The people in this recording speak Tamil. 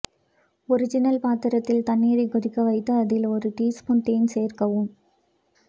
ஒரிஜினல் பாத்திரத்தில் தண்ணீரை கொதிக்க வைத்து அதில் ஒரு டீ ஸ்பூன் தேன் சேர்க்கவும்